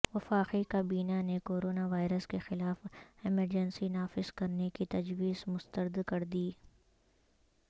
وفاقی کابینہ نے کورونا وائرس کے خلاف ایمرجنسی نافذ کرنے کی تجویز مستردکردی